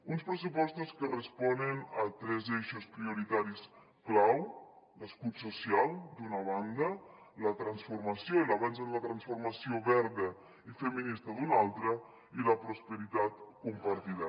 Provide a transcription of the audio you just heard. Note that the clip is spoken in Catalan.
uns pressupostos que responen a tres eixos prioritaris clau l’escut social d’una banda la transformació i l’avenç en la transformació verda i feminista d’una altra i la prosperitat compartida